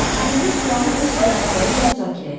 Gündüz planı öz əlaltıları ilə müzakirə etdi.